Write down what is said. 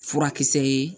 Furakisɛ ye